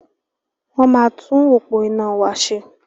Wọ́n máa tún òpó iná wa ṣe.